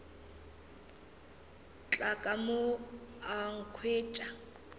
tla ka mo a nkhwetša